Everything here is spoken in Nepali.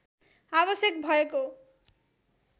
आवश्यक भएको